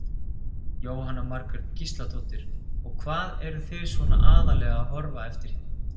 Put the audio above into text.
Jóhanna Margrét Gísladóttir: Og hvað eruð þið svona aðallega að horfa eftir hérna?